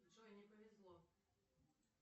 джой не повезло